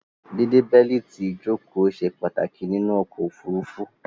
Díde bẹ́lítì ìjòkó se pàtàkì nínú okò òfurufú